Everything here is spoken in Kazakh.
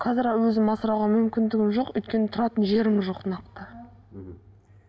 қазір өзім асырауға мүмкіндігім жоқ өйткені тұратын жерім жоқ нақты мхм